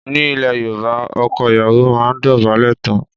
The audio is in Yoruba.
Ní ile Yorùbá, ọkọ ìyàwó máa ń dobale tán.